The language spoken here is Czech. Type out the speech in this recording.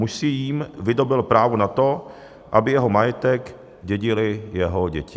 Muž si jím vydobyl právo na to, aby jeho majetek dědily jeho děti.